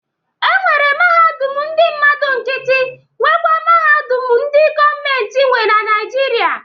E nwere mahadum ndị mmadụ nkịtị nwe nwekwa mahadum ndị gọọmentị nwe na Naịjirịa.